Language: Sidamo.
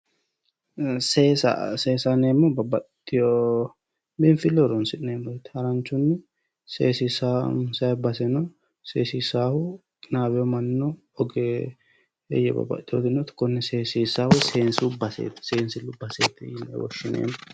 Seesa, seesaho yineemmohu babbaxitewotta biinfileho horonsi'neemmo haranchunni seesissanni baseno seesissahu qinawino mannino oggeeye babbaxitinotino konne seesissanohu seesu baseti yinne woshshineemmo.